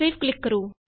save ਤੇ click ਕਰੋ